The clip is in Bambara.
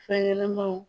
Fɛn ɲɛnɛmanw